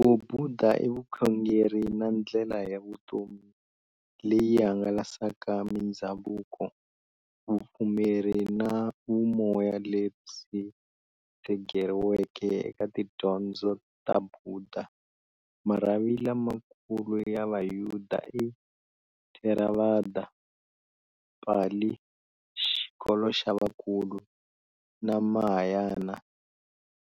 Vubhuda i vukhongeri na ndlela ya vutomi leyi hlanganisaka mindzhavuko, vupfumeri na vumoya lebyi tshegeriweke eka tidyondzo ta Bhuda. Marhavi lama kulu ya Vubhuda i-Theravada, Pali-"Xikolo xa vakulu", na Mahayana,